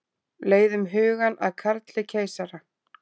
Leiðum hugann að Karli keisara.